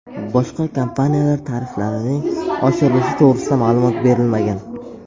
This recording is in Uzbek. Boshqa kompaniyalar tariflarining oshirilishi to‘g‘risida ma’lumot berilmagan.